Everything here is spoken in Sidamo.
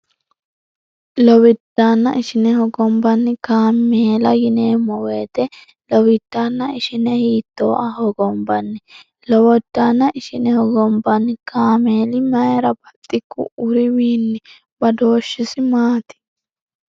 lowijaanna ishineho gombanni kaameela yineemmo weete lowijaanna ishine hiittooa hogombanni lowojaanna ishineho gombanni kaameeli mayira baxikku uriwiinni badooshshisi maati